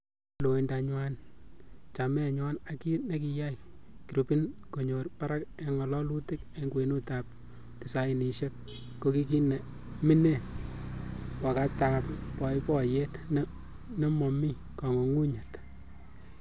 Loindanywan, chamenywan ak kit nekiyai girupini konyo barak en ng'ololutik en kwenutab tisainisiek kokikiminen wakatab boiboiyet nemomi kong'ung'unyet.